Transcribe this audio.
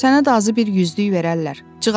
Sənətdə azı bir 100-lük verərdilər.